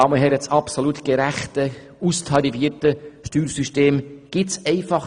Das absolut gerechte, austarierte Steuersystem gibt es nicht.